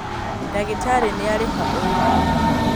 Ndagĩtarĩ nĩarĩha ũyũ